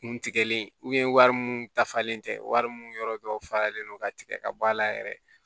Kun tigɛlen wari mun dafalen tɛ wari mun yɔrɔ dɔ faralen don ka tigɛ ka bɔ a la yɛrɛ